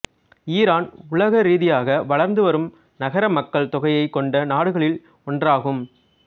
Iran உலக ரீதியாக வளர்ந்து வரும் நகர மக்கள் தொகையைக் கொண்ட நாடுகளில் ஒன்றாகும்